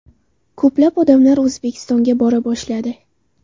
Ko‘plab odamlar O‘zbekistonga bora boshladi.